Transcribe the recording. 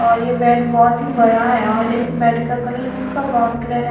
और ये बेड बहुत ही बड़ा है और इस बेड का कलर हल्का ब्राउन कलर है।